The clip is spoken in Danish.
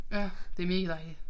Ja det mega dejligt